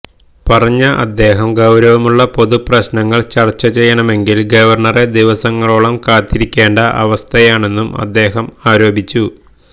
പറഞ്ഞ അദ്ദേഹം ഗൌരവമുള്ള പൊതുപ്രശ്നങ്ങള് ചര്ച്ച ചെയ്യണമെങ്കില് ഗവര്ണറെ ദിവസങ്ങളോളം കാത്തിരിയ്ക്കേണ്ട അവസ്ഥയാണെന്നും അദ്ദേഹം ആരോപിച്ചു